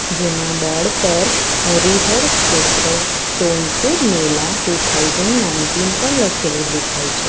જેમાં બોર્ડ પર Harihar Kshetra Sonpur Mela two thousand nineteen પણ લખેલું દેખાય છે.